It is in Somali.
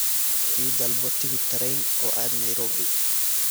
I dalbo tigidh tareen oo aad nayroobi